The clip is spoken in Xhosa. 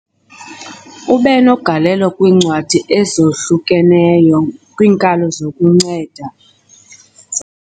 Ube negalelo kwiincwadi ezahlukeneyo kwiinkalo zokunceda